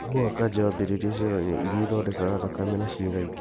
Mũrimũ wa kanja wambĩrĩirie cero-inĩ irĩa ithondekaga thakame na ciĩga ĩngĩ.